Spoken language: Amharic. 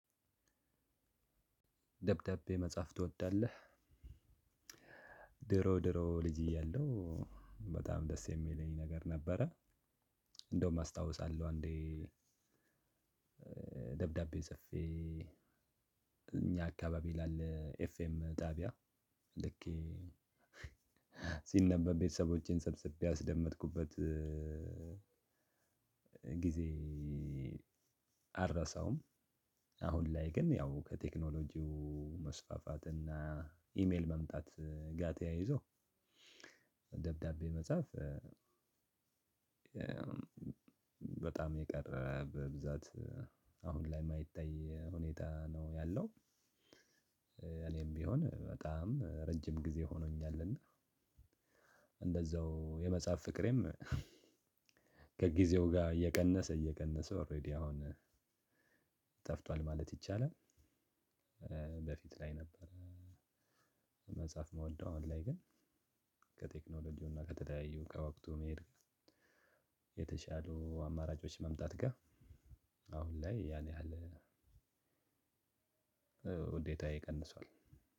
ደብዳቤ መጻፍ ትወዳለህ? ድሮ ድሮ ልጅ እያለሁ በጣም ደስ የሚለኝ ነገር ነበረ። እንደውም አስታውሳለሁ አንዴ። ደብዳቤ ጽፌ እኛ አካባቢ ላለ ኤፍኤም ጣቢያ ልኬ ሲነበብ ቤተሰቦቼን ሰብስቤ ያስደመጥኩበት። ጊዜ አልረሳውም። አሁን ላይ ግን ያው ከቴክኖሎጂው መስፋፋት እና ኢሜል መምጣት ጋር ተያይዞ ደብዳቤ መጻፍ። በጣም የቀረ በብዛት አሁን ላይ የማይታይ ሁኔታ ነው ያለው። እኔም ቢሆን በጣም ረጅም ጊዜ ሆኖኛልና። እንደዛው የመጽሐፍ ፍቅሬም ከጊዜው ጋር እየቀነሰ እየቀነሰ ኦሬዲ አሁን ጠፍቷል ማለት ይቻላል። በፊት ላይ ነበር። መጽሐፍ ምወደው አሁን ላይ ግን ከቴክኖሎጂውና ከተለያዩ ከወቅቱ መሄድ የተሻሉ አማራጮች መምጣት ጋር አሁን ላይ ያን ያህል ውዴታዬ ቀንሷል።